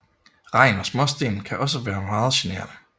Regn og småsten kan også være meget generende